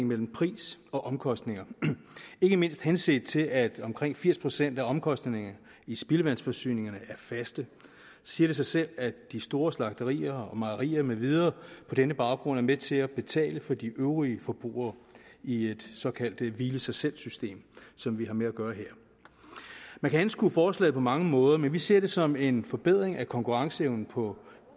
mellem pris og omkostninger ikke mindst henset til at omkring firs procent af omkostningerne i spildevandsforsyningerne er faste så siger det sig selv at de store slagterier mejerier med videre på denne baggrund er med til at betale for de øvrige forbrugere i et såkaldt hvile i sig selv system som vi har med at gøre her man kan anskue forslaget på mange måder men vi ser det som en forbedring af konkurrenceevnen på